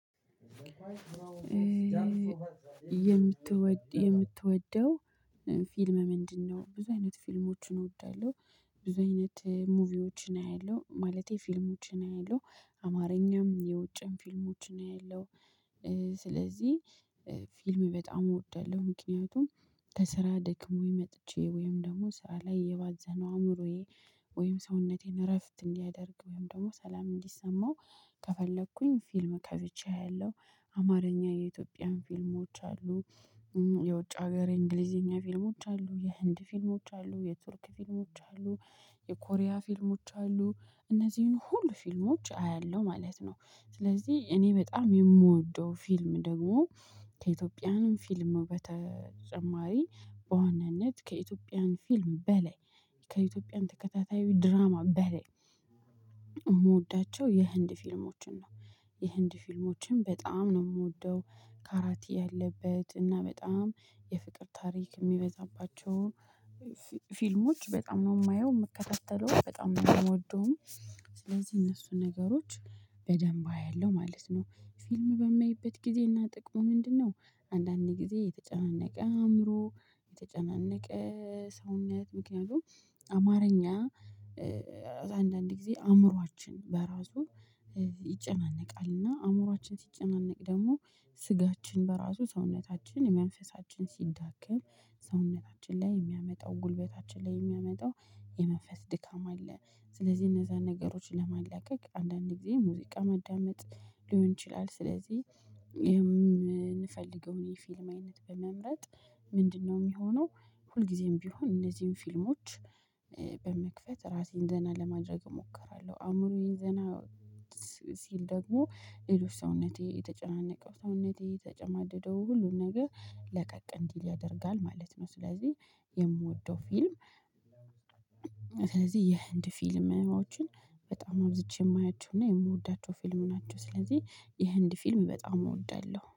የምትወደው ፊልም ምንድነው? ብዙ አይነት ፊልሞችን እወዳለሁ ብዙ አይነት ሙቪዎችን አያለሁ ማለቴ ፊልሞችን አያለሁ አማርኛም የውጭም ፊልሞችን አያለው ስለዚህ ፊልም በጣም እወዳለሁ። ምክንያቱም ከስራ ደክሞኝ መጥቼ ወይም ደግሞ ስራ ላይ የባዘነው አእምሮዬ ወይም ሰውነቴን እረፍት እንዲያደርግ ወይም ደግሞ ሰላም እንዲሰማው ከፈለኩኝ ፊልም ከፍቼ አያለው አማርኛ የኢትዮጵያን ፊልሞች አሉ። የውጭ ሀገር የእንግሊዘኛ ፊልሞች አሉ የህንድ ፊልሞች አሉ የቱርክ ፊልሞች አሉ የኮሪያ ፊልሞች አሉ እነዚህን ሁሉ ፊልሞች አያለሁ ማለት ነው። ስለዚህ እኔ በጣም የምወደው ፊልም ደግሞ ከኢትዮጵያንም ፊልም በተጨማሪ በዋናነት ከኢትዮጵያን ፊልም በላይ ከኢትዮጵያን ተከታታይ ድራማ በላይ የምወዳቸው የህንድ ፊልሞችን ነው። የህንድ ፊልሞችን በጣም ነው የምወደው ካራቴ ያለበት እና በጣም የፍቅር ታሪክ የሚበዛባቸው ፊልሞች በጣም ነው የማየው የምከታተለው በጣም ነው የምወደውም። ስለዚህ እነሱ ነገሮች በደንብ አያለው ማለት ነው። ፊልም በማይበት ጊዜ እና ጥቅሙ ምንድነው? አንዳንድ ጊዜ የተጨናነቀ አእምሮ የተጨናነቀ ሰውነት ምክንያቱም አማርኛ አንዳንድ ጊዜ አእምሮአችን በራሱ ይጨናነቃል እና አእምሮአችን ሲጨናነቅ ደግሞ ስጋችን በራሱ ሰውነታችን የመንፈሳችን ሲዳከም ሰውነታችን ላይ የሚያመጣው ጉልበታችን ላይ የሚያመጣው የመንፈስ ድካም አለ። ስለዚህ እነዛን ነገሮችን ለማላቀቅ አንዳንድ ጊዜ ሙዚቃ ማዳመጥ ሊሆን ይችላል። ስለዚህ የምንፈልገውን የፊልም አይነት በመምረጥ ምንድነው የሚሆነው? ሁልጊዜም ቢሆን እነዚህን ፊልሞች በመክፈት ራሴን ደህና ለማድረግ እሞክራለሁ አእምሮዬን ዘና ሲል ደግሞ ሌሎች ሰውነቴ የተጨናነቀው ሰውነቴ የተጨማደደው ሁሉን ነገር ለቀቅ እንዲል ያደርጋል ማለት ነው። ስለዚህ የምወደው ፊልም ስለዚህ የህንድ ፊልምዎችን በጣም አብዝቼ የማያቸው እና የምወዳቸው ፊልም ናቸው። ስለዚህ የህንድ ፊልም በጣም እወዳለሁ